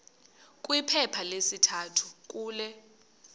kwiphepha lesithathu kule